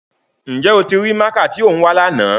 Njẹ o ti rii máaka ti o n wa làná?